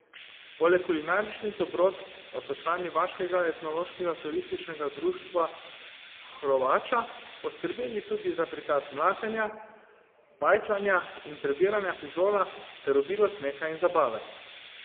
Poleg kulinaričnih dobrot pa so člani Vaškega etnološkega turističnega društva Hrovača poskrbeli tudi za prikaz mlatenja, pajtlanja in prebiranja fižola ter obilo smeha in zabave.